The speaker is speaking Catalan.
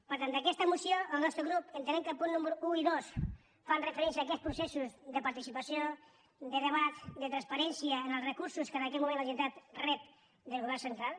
per tant d’aquesta moció el nostre grup entenem que els punts números un i dos fan referència a aquests processos de participació de debat de transparència en els recursos que en aquest moment la generalitat rep del govern central